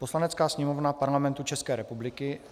Poslanecká sněmovna Parlamentu České republiky